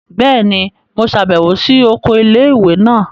Bẹẹni, Mo ṣabẹwo si oko ilé-ìwé náà